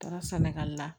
Taara sɛnɛgali la